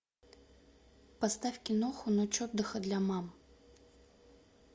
поставь киноху ночь отдыха для мам